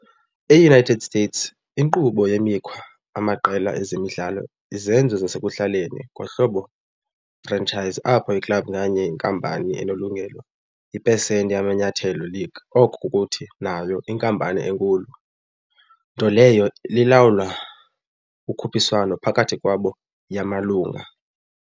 EUnited States, inkqubo wemikhwa amaqela ezemidlalo izenzo zasekuhlaleni ngohlobo franchise, apho club nganye yinkampani onelungelo ipesenti amanyathelo league, oko kukuthi, nayo, inkampani enkulu, nto leyo lilawula ukhuphiswano phakathi kwabo yamalungu.